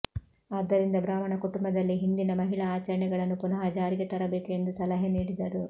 ಆದ್ದರಿಂದ ಬ್ರಾಹ್ಮಣ ಕುಟುಂಬದಲ್ಲಿ ಹಿಂದಿನ ಮಹಿಳಾ ಆಚರಣೆಗಳನ್ನು ಪುನಃ ಜಾರಿಗೆ ತರಬೇಕು ಎಂದು ಸಲಹೆ ನೀಡಿದರು